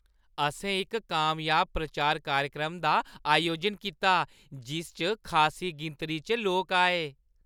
असें इक कामयाब प्रचार कार्यक्रम दा अयोजन कीता जिस च खासी गिनतरी च लोक आए।